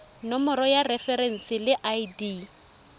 nomoro ya referense le id